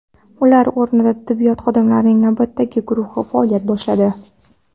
Ularning o‘rnida tibbiyot xodimlarining navbatdagi guruhi faoliyat boshladi.